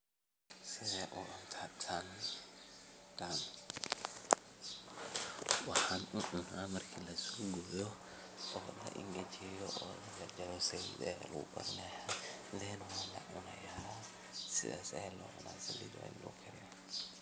sidee u cunta tan? waxaan u cuna marka lasoo gooyo kadhib ayaan jar jarana kadhib waan cunaaya